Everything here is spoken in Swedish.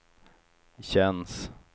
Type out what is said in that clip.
känns